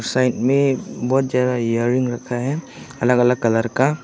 side में बहुत ज्यादा इयररिंग रखा है अलग अलग कलर का--